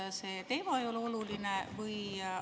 Kas see teema ei ole oluline?